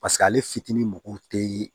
Paseke ale fitinin mɔgɔw te ye